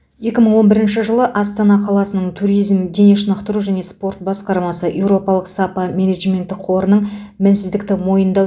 екі мың он бірінші жылы астана қаласының туризм дене шынықтыру және спорт басқармасы еуропалық сапа менеджменті қорының мінсіздікті мойындау